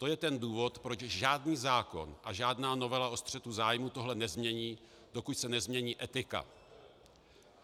To je ten důvod, proč žádný zákon a žádná novela o střetu zájmů tohle nezmění, dokud se nezmění etika.